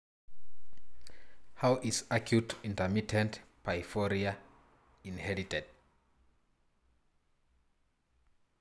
How is acute intermittent porphyria (AIP) inherited?